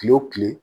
Kile wo kile